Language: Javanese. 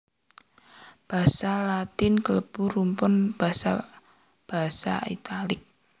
Basa Latin klebu rumpun basa basa Italik